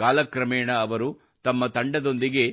ಕಾಲ ಕ್ರಮೇಣ ಅವರು ತಮ್ಮ ತಂಡದೊಂದಿಗೆ